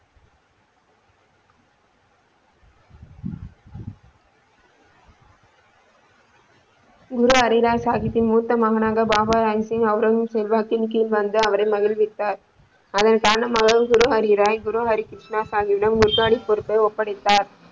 குரு ஹரிராய் சாகிப்பின் மூத்த மகனான பாபா ராம்ஸின் அவுரங்க ஜிப்பின் செல்வாக்கில் கீழ் வந்து அவரை மகிழ்வித்தார் அதன் காரணமாக குரு ஹரிராய் குரு ஹரிராய் கிருஷ்ணா ஷாகி பீடம பொறுப்பை ஒப்படைத்தார்.